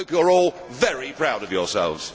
I hope you are all very proud of yourselves.